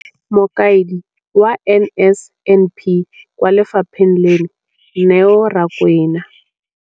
Mokaedi wa NSNP kwa lefapheng leno, Neo Rakwena,